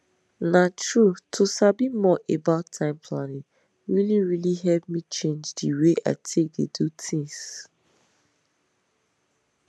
na true to sabi more about time planning really really help me change the way i take dey do tins